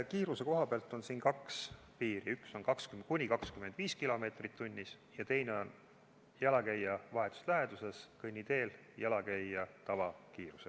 Kiiruse koha pealt on siin kaks piiri, üks on kuni 25 kilomeetrit tunnis ja teine on jalakäija vahetus läheduses kõnniteel jalakäija tavakiirus.